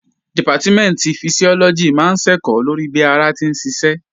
Dìpátímẹ̀ntì Fisiọ́lọ́gì máa ń ṣẹ̀kọ́ lórí bí ara ti ń ṣiṣẹ́